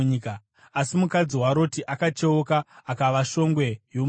Asi mukadzi waRoti akacheuka, akava shongwe yomunyu.